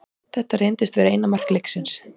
Þetta reyndist vera eina mark leiksins.